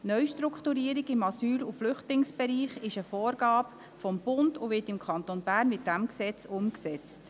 Die Neustrukturierung im Asyl- und Flüchtlingsbereich ist eine Vorgabe des Bundes, und sie wird im Kanton Bern mit diesem Gesetz umgesetzt.